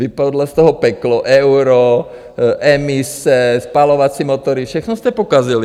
Vypadlo z toho peklo - euro, emise, spalovací motory, všechno jste pokazili.